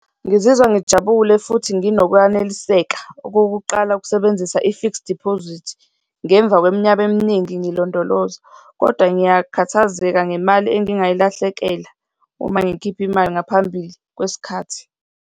Ngizizwa ngijabule futhi nginokwaneliseka okokuqala ukusebenzisa i-fixed deposit, ngemva kweminyaka eminingi ngilondoloza. Kodwa ngiyakhathazeka ngemali engingayilahlekela uma ngikhipha imali ngaphambili kwesikhathi.